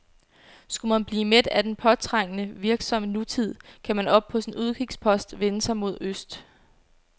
Skulle man blive mæt af den påtrængende, virksomme nutid, kan man oppe på sin udkigspost vende sig mod øst.